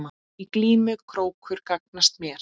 Í glímu krókur gagnast mér.